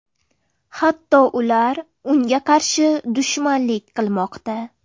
Hatto ular unga qarshi dushmanlik qilmoqda.